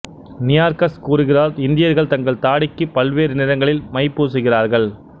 Nearchus கூறுகிறார் இந்தியர்கள் தங்கள் தாடிக்கு பல்வேறு நிறங்களில் மைப் பூசுகிறார்கள்